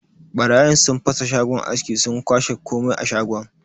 Barayin sun fasa shagon askin sun kwashe komai a shagon.